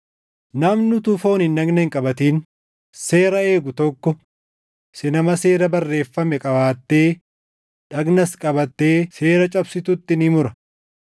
Namni utuu fooniin dhagna hin qabatin seera eegu tokko si nama seera barreeffame qabaattee dhagnas qabattee seera cabsitutti ni mura.